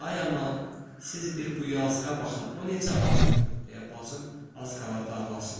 Ay aman, siz bir bu yazıqa baxın, o necə acıb! deyə bacım az qalırdı ağlasın.